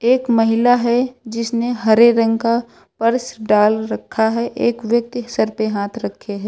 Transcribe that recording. एक महिला है जिसने हरे रंग का पर्स डाल रखा है एक व्यक्ति सर पे हाथ रखे है।